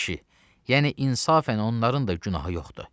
Ay kişi, yəni insafən onların da günahı yoxdur.